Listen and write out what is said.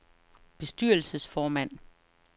bestyrelsesformand